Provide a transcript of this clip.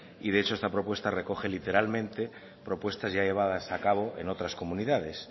y de hecho esta propuesta recoge literalmente propuestas ya llevadas a cabo en otras comunidades